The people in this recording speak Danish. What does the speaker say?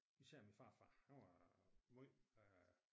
Især min farfar han var måj øh